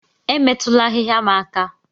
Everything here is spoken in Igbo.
Emetụla ahịhịa m aka